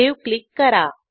save click करा